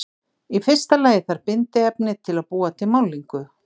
Í fyrsta lagi þarf bindiefni til að búa til málningu.